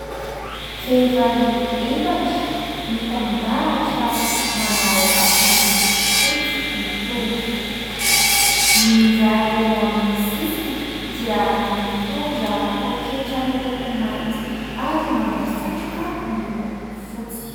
Vehivavy efatra, mitandahatra manao akanjo fotsy mitovy. Ny iray eo amin'ny sisiny dia mitondra poketra miloko mainty , ary manao satroka miloko fotsy.